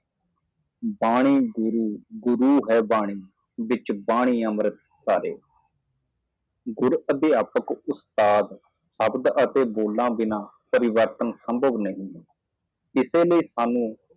ਬਾਣੀ ਗੁਰੂ ਗੁਰੂ ਹੈ ਬਾਣੀ ਭਿੰਚ ਵਿਚ ਵਾਣੀ ਅੰਮ੍ਰਿਤ ਸਰੇ ਮਾਸਟਰ ਅਧਿਆਪਕ ਮਾਸਟਰ ਸ਼ਬਦਾਂ ਅਤੇ ਬੋਲਣ ਤੋਂ ਬਿਨਾਂ ਤਬਦੀਲੀ ਸੰਭਵ ਨਹੀਂ ਹੈ ਇਸ ਲਈ ਅਸੀਂ